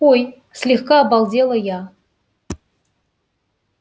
ой слегка обалдела я